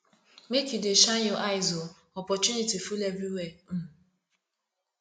make you dey shine your eyes o opportunity full everywhere um